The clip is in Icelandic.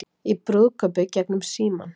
Í brúðkaupi gegnum símann